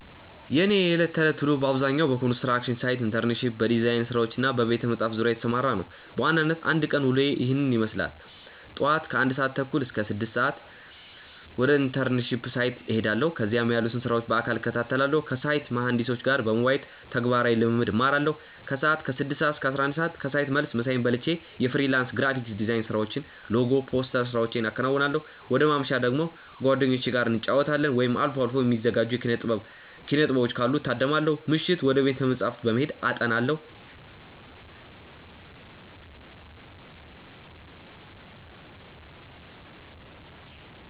የእኔ የዕለት ተዕለት ውሎ በአብዛኛው በኮንስትራክሽን ሳይት ኢንተርንሺፕ፣ በዲዛይን ስራዎች እና በቤተ-መጻሕፍት ዙሪያ የተሰማራ ነው። በዋናነት የአንድ ቀን ውሎዬ ይህንን ይመስላል፦ ጧት (ከ1:30 - 6:00)፦ ወደ ኢንተርንሺፕ ሳይት እሄዳለሁ። እዚያም ያሉትን ስራዎች በአካል እከታተላለሁ። ከሳይት መሃንዲሶች ጋር በመወያየት ተግባራዊ ልምድ እማራለሁ። ከሰዓት (ከ6:00 - 11:00)፦ ከሳይት መልስ ምሳዬን በልቼ የፍሪላንስ ግራፊክ ዲዛይን ስራዎችን (ሎጎ፣ ፖስተር ስራዎቼን አከናውናለሁ። ወደ ማምሻ ደግሞ፦ ከጓደኞቼ ጋር እንጫወታለን፣ ወይም አልፎ አልፎ የሚዘጋጁ የኪነ-ጥበቦችን ካሉ እታደማለሁ። ምሽት፦ ወደ ቤተ-መጻሕፍት በመሄድ አጠናለሁ።